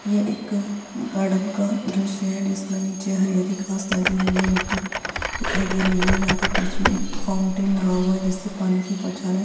ये एक गार्डन का है जिसमें निचे हरी-हरी घास लगी हुई है। मिट्टी दिखाई दे रही है। यहाँ पर बीच में एक फाउंटेन लगा हुआ है जिससे पानी की बौछारें --